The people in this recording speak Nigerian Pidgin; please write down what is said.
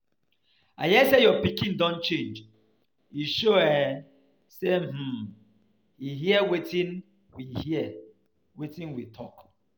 I hear say your pikin don change, e,show um say um he hear wetin we hear wetin we talk.